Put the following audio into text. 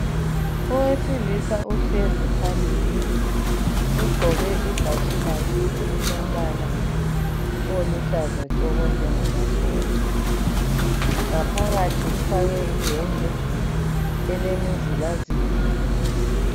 Owesilisa uhlezi phambili ugqoke ibhatshi lakhe elilombala oluhlaza tshoko njengamasotsha ngaphakathi ufake iyembe elemizilazila.